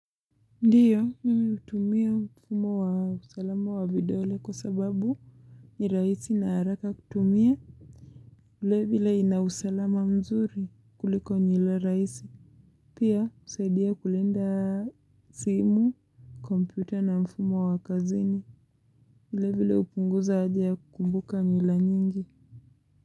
Ndiyo, mimi utumia mfumo wa usalama wa vidole kwa sababu niraisi na haraka kutumia. Ule vile ina usalama mzuri kuliko nila raisi. Pia, usaidia kulenda simu, kompyuter na mfumo wa kazini. Ule vile hupunguza ajia kumbuka njila nyingi.